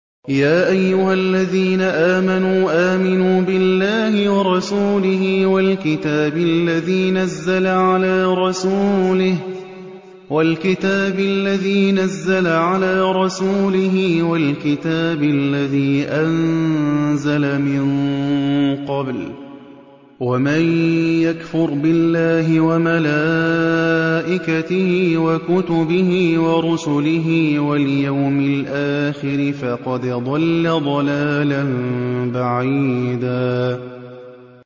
يَا أَيُّهَا الَّذِينَ آمَنُوا آمِنُوا بِاللَّهِ وَرَسُولِهِ وَالْكِتَابِ الَّذِي نَزَّلَ عَلَىٰ رَسُولِهِ وَالْكِتَابِ الَّذِي أَنزَلَ مِن قَبْلُ ۚ وَمَن يَكْفُرْ بِاللَّهِ وَمَلَائِكَتِهِ وَكُتُبِهِ وَرُسُلِهِ وَالْيَوْمِ الْآخِرِ فَقَدْ ضَلَّ ضَلَالًا بَعِيدًا